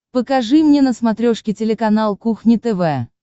покажи мне на смотрешке телеканал кухня тв